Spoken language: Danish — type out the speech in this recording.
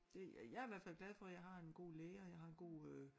Det ja jeg er i hvert fald glad for jeg har en god læge og jeg har en god